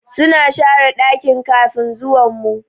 Suna share dakin kafin zuwan mu.